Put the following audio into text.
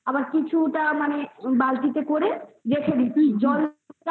কিছুটা মানে বালতিতে করে রেখে দি জলটা এখন দু তিন